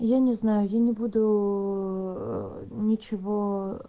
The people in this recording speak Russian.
я не знаю я не буду ээ ничего ээ